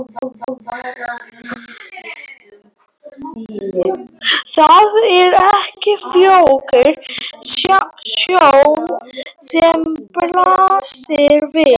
Það er ekki fögur sjón sem blasir við.